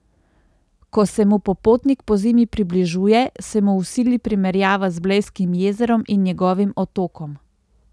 Ko se mu popotnik pozimi približuje, se mu vsili primerjava z Blejskim jezerom in njegovim otokom.